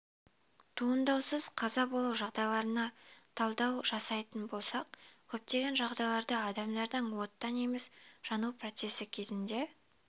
туындауынсыз қаза болу жағдайларына талдау жасайтын болсақ көптеген жағдайларда адамдардың оттан емес жану процесі кезінде